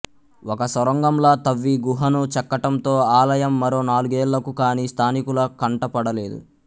ఒక సొరంగంలా తవ్వి గుహను చెక్కటంతో ఆలయం మరో నాలుగేళ్లకు కాని స్థానికుల కంటపడలేదు